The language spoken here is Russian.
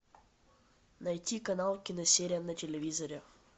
найти канал киносерия на телевизоре